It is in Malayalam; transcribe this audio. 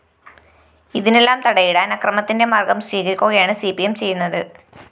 ഇതിനെല്ലാംതടയിടാന്‍ അക്രമത്തിന്റെ മാര്‍ഗ്ഗം സ്വീകരിക്കുകയാണ്‌സിപിഎം ചെയ്യുന്നത്